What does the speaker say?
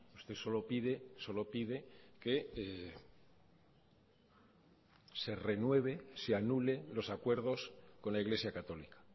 usted solo pide solo pide que se renueve se anule los acuerdos con la iglesia católica